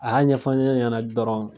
A y'a ɲɛfɔ ne ye dɔrɔn